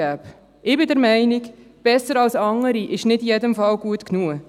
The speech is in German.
Ich bin der Meinung «besser als andere» zu sein, sei nicht in jedem Fall gut genug.